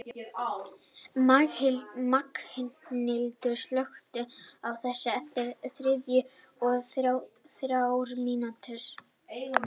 Magnhildur, slökktu á þessu eftir þrjátíu og þrjár mínútur.